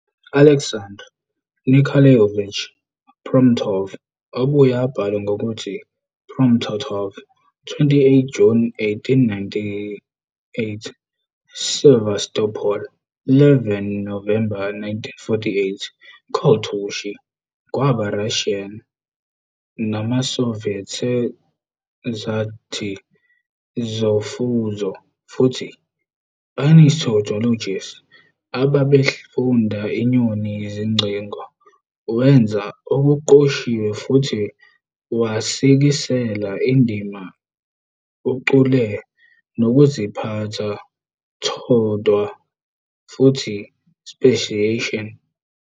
Aleksandr Nikolaevich Promptov, obuye abhalwe ngokuthi Promptoff, 27 Juni 1898, Sevastopol - 11 November 1948, Koltushi, kwaba Russian nawaseSoviet sezakhi zofuzo futhi ornithologist ababefunda inyoni izingcingo, wenza okuqoshiwe futhi wasikisela indima ucule nokuziphatha todvwa futhi speciation.